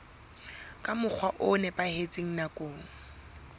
ka mokgwa o nepahetseng nakong